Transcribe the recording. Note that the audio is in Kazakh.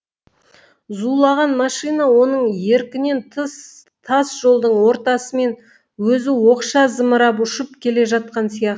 зулаған машина оның еркінен тыс тас жолдың ортасымен өзі оқша зымырап ұшып келе жатқан сияқты